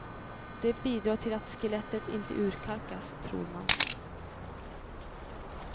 Det bidrar till att skelettet inte urkalkas, tror man.